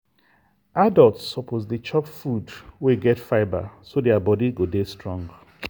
adults suppose dey chop food wey get fibre so their body go dey strong.